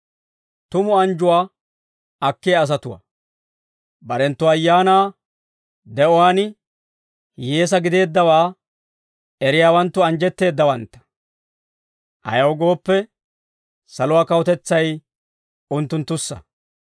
«Barenttu ayaanaa de'uwaan, hiyyeesaa gideeddawaa eriyaawanttu anjjetteeddawantta; ayaw gooppe, saluwaa kawutetsay unttunttussa.